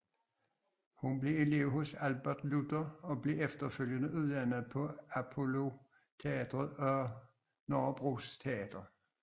Hun blev elev hos Albert Luther og blev efterfølgende uddannet på Apolloteatret og Nørrebros Teater